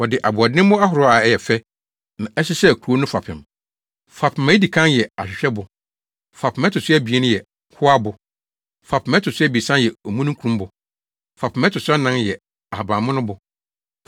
Wɔde aboɔdemmo ahorow a ɛyɛ fɛ na ɛhyehyɛɛ kurow no fapem. Fapem a edi kan yɛ ahwehwɛbo. Fapem a ɛto so abien yɛ hoabo. Fapem a ɛto so abiɛsa yɛ omununkumbo. Fapem a ɛto so anan yɛ ahabammono bo.